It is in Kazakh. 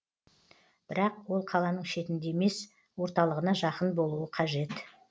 бірақ ол қаланың шетінде емес орталығына жақын болуы қажет